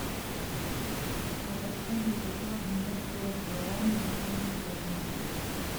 а подскажи хочу обменять сорок гуарани на фунты стерлинги